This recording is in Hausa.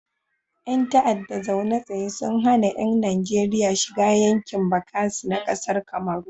Ƴan ta'adda zaune tsaye sun hana yan Najeria shiga yankin bakasi na kasar kamaru